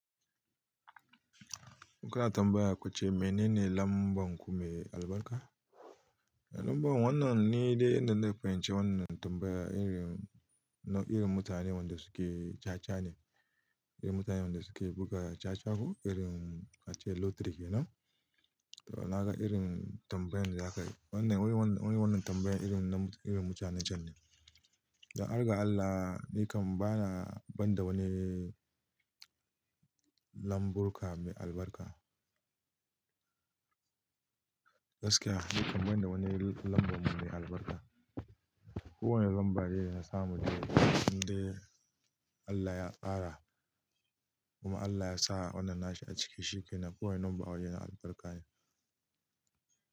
Kuna tambaya kuce mene ne lambar ku me albarka? Lambar wannan ni dai inda fahimci wannan tambaya irin na irin mutane wanda suke caca ne, irin mutane wanda suke buga cacagu irin ace lotiri kenan. To na ga irin tambayan da za aka yi. Wannan wani wannan tambayan irin na irin mutane can ne. Dan arga Allah ni kam bana banda wani lambu kume albarka. Gaskiya ni kam banda wani lambu kume albarka. Kowane lamba dai yana samu yau dai Allah ya ƙara kuma Allah ya sa wannan nashi a cikin shi ke nan. Kowane lambar waje yana albarka ne.